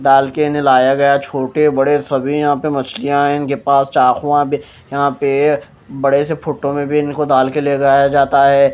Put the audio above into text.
डाल के इन्हें लाया गया छोटे बड़े सभी यहाँ पे मछलियाँ हैं इनके पास चाकूआँ भी यहाँ पे बड़े से फुटों में भी इनको डाल के ले गया जाता है।